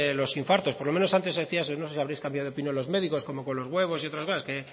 los infartos por lo menos antes se decía eso no sé si habréis cambiado de opinión los médicos como con los huevos y otras cosas que